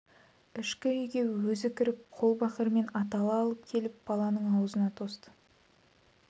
ішкі үйге өзі кіріп қол бақырмен атала алып келіп баланың аузына тосты